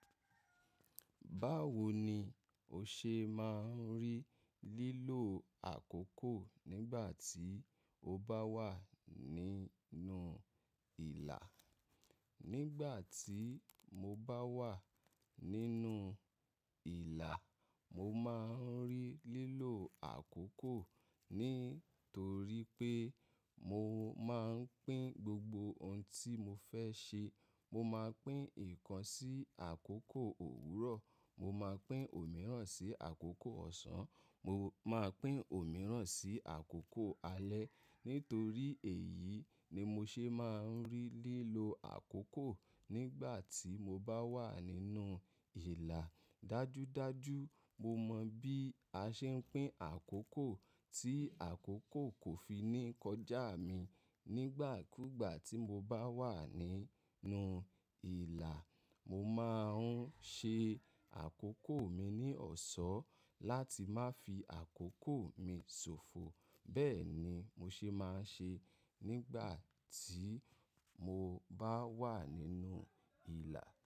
Báwo ni o ṣe máa ń rí lílo àkókò nígbà tí o bá wà nínú ìlà? Nígbà tí mo bá wà nínú ìlà, mo máa ń rí lílo àkókò, nítorí pé mo máa ń pín gbogbo ohun tí mo fẹ́ ṣe. Mo máa pín ìkan sí àkókò òwúrọ̀, mo máa pín òmíràn sí àkókò ọ̀sán, mo máa pín òmíràn sí àkókò alẹ́. Nítorí èyí ni mo ṣe máa ń rí lílo àkókò nígbà tí mo bá wà nínú ìlà. Dájúdájú mo mọ bí a ṣe ń pín àkókò tí àkókò kò fi ní kọjá mi. Nígbà kúgbà tí mo bá wà nínú ìlà, mo máa ń ṣe àkókò mi ní ọ̀ṣọ́ láti má fi àkókò mi ṣòfò. Bẹ́ẹ̀ ni mo ṣe máa ń ṣe nígbà tí mo bá wà nínú ìlà.